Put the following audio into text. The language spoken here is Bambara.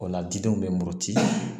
O la didenw bɛ muruti